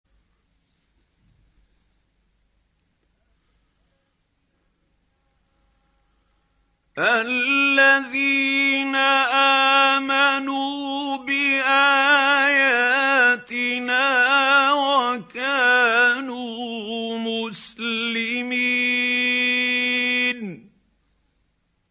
الَّذِينَ آمَنُوا بِآيَاتِنَا وَكَانُوا مُسْلِمِينَ